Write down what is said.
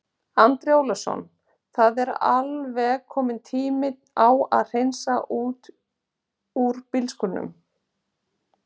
Andri Ólafsson: Það var alveg kominn tími á að hreinsa úr bílskúrnum?